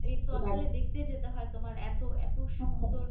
এতো আসলে দেখতে যেতে হয় তোমার এত এত সুন্দর